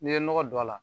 N'i ye nɔgɔ don a la